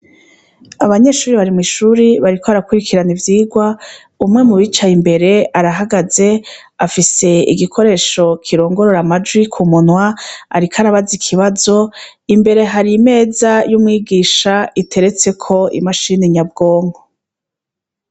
Abanyeshuri bari mw'ishuri bariko barakurikirana ivyirwa, umwe mu bicaye imbere arahagaze afise igikoresho kirongorora amajwi ku munwa ariko arabaza ikibazo, imbere har'imeza y'umwigisha iteretseko i mashini nyabwonko.